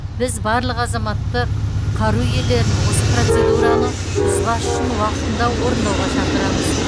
біз барлық азаматтық қару иелерін осы процедураны бұзбас үшін уақытында орындауға шақырамыз